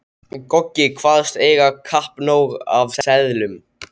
Goggi kvaðst eiga kappnóg af seðlum.